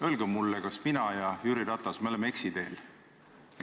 Öelge mulle, kas mina ja Jüri Ratas oleme eksiteel.